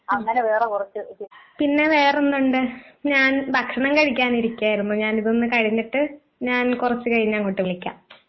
ആഹ് പിന്നെ വേറെ എന്തുണ്ട്? ഞാൻ ഭക്ഷണം കഴിക്കാൻ ഇരിക്കായിരുന്നു ഞാൻ ഇതൊന്ന് കഴിഞ്ഞിട്ട് ഞാൻ കൊറച്ച് കഴിഞ്ഞ് അങ്ങോട്ട് വിളിക്കാം.